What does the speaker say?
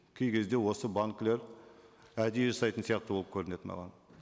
кей кезде осы банкілер әдейі жасайтын сияқты болып көрінеді маған